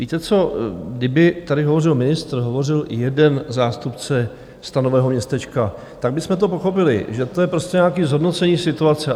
Víte co? kdyby tady hovořil ministr, hovořil jeden zástupce stanového městečka, tak bychom to pochopili, že to je prostě nějaké zhodnocení situace.